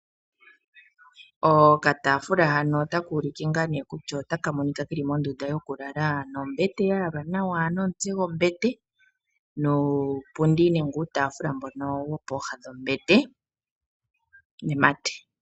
Okatafula hano otaka ulike ngaa nee kutya otaka monika keli mondunda yoku lala, nombete ya yalwa nawa nomutse gwombete, nuupundi nenge uutaafula mbono wopooha dhombete nemate